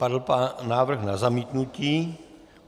Padl návrh na zamítnutí.